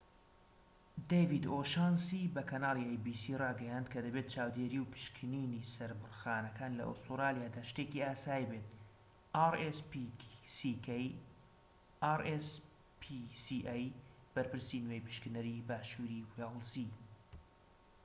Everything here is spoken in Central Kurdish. بەرپرسی نوێی پشکنەری باشووری وێیڵزیrspca ‎ دەیڤید ئۆشانسی بە کەناڵی ئەی بی سی ڕاگەیاند کە دەبێت چاودێری و پشکنینی سەربڕخانەکان لە ئوسترالیادا شتێکی ئاسایی بێت